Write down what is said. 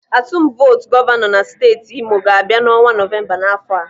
Atum votu gọvanọ na steeti Imo ga-abịa n'ọnwa Novemba n'afọ a.